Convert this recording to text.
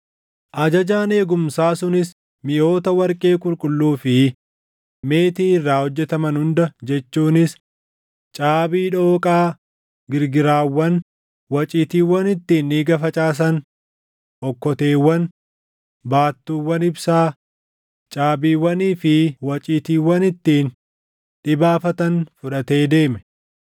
Ajajaan eegumsaa sunis miʼoota warqee qulqulluu fi meetii irraa hojjetaman hunda jechuunis caabii dhooqaa, girgiraawwan, waciitiiwwan ittiin dhiiga facaasan, okkoteewwan, baattuuwwan ibsaa, caabiiwwanii fi waciitiiwwan ittiin dhibaafatan fudhatee deeme.